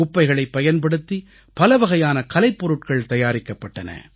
குப்பைகளைப் பயன்படுத்தி பலவகையான கலைப் பொருட்கள் தயாரிக்கப்பட்டன